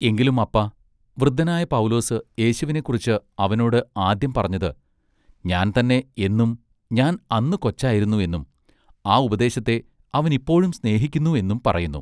എങ്കിലും അപ്പാ വൃ‌ദ്ധനായ പൗലോസ് യേശുവിനെക്കുറിച്ച് അവനോട് ആദ്യം പറഞ്ഞത് ഞാൻ തന്നെ എന്നും ഞാൻ അന്ന് കൊച്ചായിരുന്നു എന്നും ആ ഉപദേശത്തെ അവൻ ഇപ്പോഴും സ്നേഹിക്കുന്നു എന്നും പറയുന്നു.